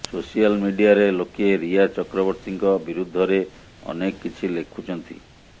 social ମିଡିଆରେ ଲୋକେ ରିୟା ଚକ୍ରବର୍ତ୍ତୀଙ୍କ ବିରୁଦ୍ଧରେ ଅନେକ କିଛି ଲେଖୁଛନ୍ତି